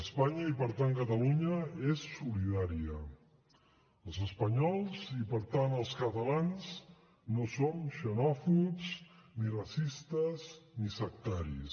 espanya i per tant catalunya és solidària els espanyols i per tant els catalans no som xenòfobs ni racistes ni sectaris